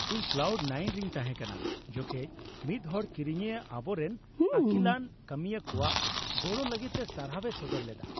ᱤᱧ cloud nine ᱨᱮᱧ ᱛᱟᱦᱮᱸ ᱠᱟᱱᱟ, ᱡᱚᱠᱷᱮᱡ ᱢᱤᱫ ᱦᱚᱲ ᱠᱤᱨᱤᱧᱤᱭᱟᱹ ᱟᱵᱚᱨᱮᱱ ᱟᱹᱠᱤᱞᱟᱱ ᱠᱟᱹᱢᱤᱭᱟᱹ ᱠᱚᱣᱟᱜ ᱜᱚᱲᱚ ᱞᱟᱹᱜᱤᱫ ᱛᱮ ᱥᱟᱨᱦᱟᱣᱮ ᱥᱚᱫᱚᱨ ᱞᱮᱫᱟ ᱾